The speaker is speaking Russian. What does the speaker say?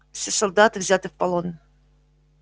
все солдаты взяты в полон